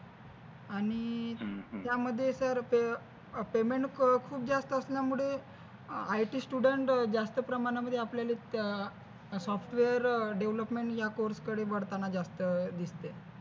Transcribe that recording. आणि अं हम्म त्यामध्ये तर अं Payment अं खुप जास्त असल्यामुळे IT Student अं जास्त प्रमाणामध्ये आपल्याला अं Software Devolopment या course कडे वळताना जास्त दिसते.